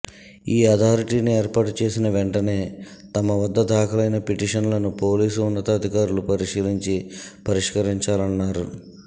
ఈ అథారిటీని ఏర్పాటు చేసిన వెంటనే తమ వద్ద దాఖలైన పిటిషన్లను పోలీసు ఉన్నతాధికారులు పరిశీలించి పరిష్కరించాలన్నారు